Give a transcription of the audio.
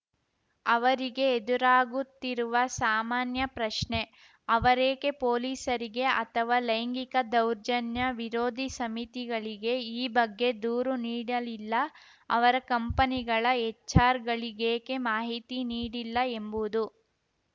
ಅವರಿಗೆ ಎದುರಾಗುತ್ತಿರುವ ಸಾಮಾನ್ಯ ಪ್ರಶ್ನೆ ಅವರೇಕೆ ಪೊಲೀಸರಿಗೆ ಅಥವಾ ಲೈಂಗಿಕ ದೌರ್ಜನ್ಯ ವಿರೋಧಿ ಸಮಿತಿಗಳಿಗೆ ಈ ಬಗ್ಗೆ ದೂರು ನೀಡಲಿಲ್ಲ ಅವರ ಕಂಪನಿಗಳ ಎಚ್‌ಆರ್‌ಗಳಿಗೇಕೆ ಮಾಹಿತಿ ನೀಡಿಲ್ಲ ಎಂಬುದು